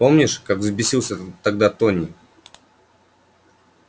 помнишь как взбесился тогда тони